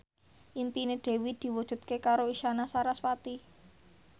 impine Dewi diwujudke karo Isyana Sarasvati